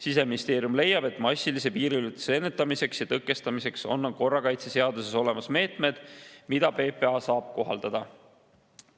Siseministeerium leiab, et massilise piiriületuse ennetamiseks ja tõkestamiseks on korrakaitseseaduses olemas meetmed, mida PPA saab kohaldada.